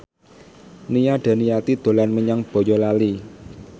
Nia Daniati dolan menyang Boyolali